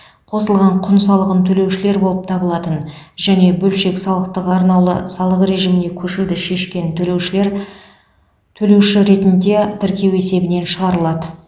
қосылған құн салығын төлеушілер болып табылатын және бөлшек салықтың арнаулы салық режиміне көшуді шешкен төлеушілер төлеуші ретінде тіркеу есебінен шығарылады